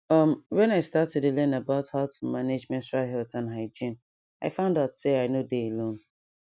um when i start to dey learn about how to manage menstrual health and hygiene i found out say i nor dey alone